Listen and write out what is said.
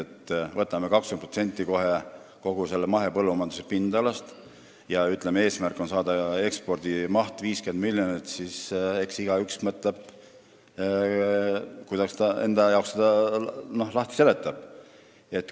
Kui me võtame selle 20%, kogu mahepõllumajandusliku maa pindala, ja ütleme, et eesmärk on saada ekspordimahuks 50 miljonit, siis eks igaüks mõelgu, kuidas ta seda enda jaoks lahti seletab.